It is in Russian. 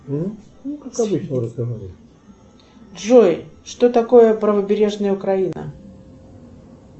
джой что такое правобережная украина